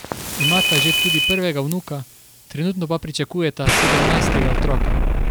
Imata že tudi prvega vnuka, trenutno pa pričakujeta sedemnajstega otroka.